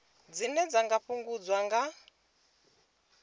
dzine dza nga fhungudzwa nga